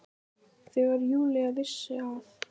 Þegar Júlía vissi að